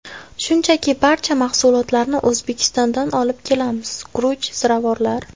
Shunchaki barcha mahsulotlarni O‘zbekistondan olib kelamiz: guruch, ziravorlar.